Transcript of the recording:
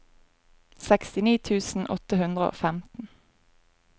sekstini tusen åtte hundre og femten